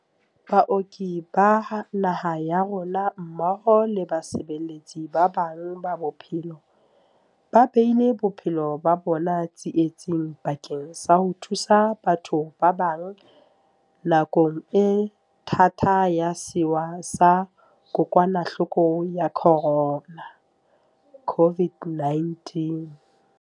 Baoki ba naha ya rona, mmoho le basebeletsi ba bang ba bophelo, ba beile bophelo ba bona tsi etsing bakeng sa ho thusa batho ba bang nakong e thata ya sewa sa Kokwanahloko ya Corona, COVID-19..